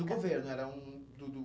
Do governo? Era um do do